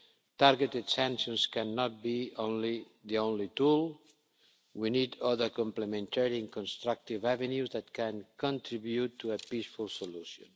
Targeted sanctions cannot be the only tool, we need other complementary constructive avenues that can contribute to a peaceful solution.